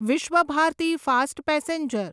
Visva Bharati fast passenger